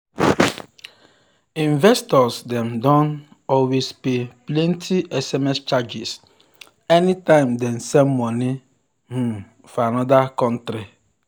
investors dem dey um always pay plenty sms charges anytime dem send money um for another country